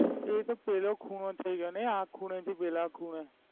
તે તો પેલો ખૂણો થઈ ગયો ને આ ખૂણે થી પેલા ખૂણે?